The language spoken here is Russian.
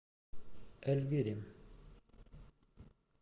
эльвире